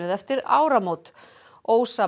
eftir áramót